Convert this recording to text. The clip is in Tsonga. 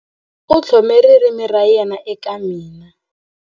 U tlhome ririmi ra yena eka mina.